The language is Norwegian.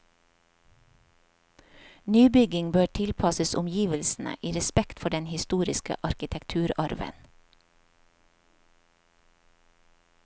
Nybygging bør tilpasses omgivelsene, i respekt for den historiske arkitekturarven.